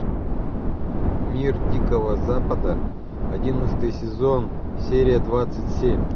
мир дикого запада одиннадцатый сезон серия двадцать семь